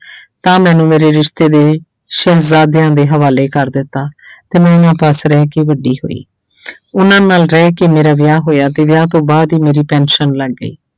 ਤਾਂ ਮੈਨੂੰ ਮੇਰੇ ਰਿਸ਼ਤੇ ਦੇ ਸ਼ਹਿਜਾਦਿਆਂ ਦੇ ਹਾਵਾਲੇ ਕਰ ਦਿੱਤਾ ਤੇ ਮੈਂ ਉਹਨਾਂ ਪਾਸ ਰਹਿ ਕੇ ਵੱਡੀ ਹੋਈ ਉਹਨਾਂ ਨਾਲ ਰਹਿ ਕੇ ਮੇਰਾ ਵਿਆਹ ਹੋਇਆ ਤੇ ਵਿਆਹ ਤੋਂ ਬਾਅਦ ਹੀ ਮੇਰੀ ਪੈਨਸਨ ਲੱਗ ਗਈ।